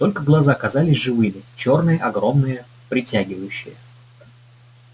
только глаза казались живыми чёрные огромные притягивающие